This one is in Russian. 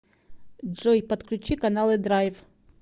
джой подключи каналы драйв